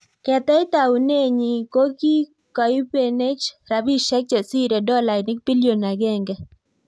Keteech taunet nyii ko kikoibenech rapisiek chesiree dolainik pilion agenge